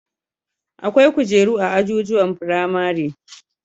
Akwai kujeru a ajujuwan firamare